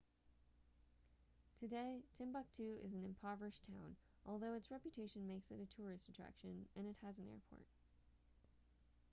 today timbuktu is an impoverished town although its reputation makes it a tourist attraction and it has an airport